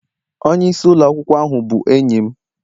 Onye isi ụlọ akwụkwọ ahu bụ enyi m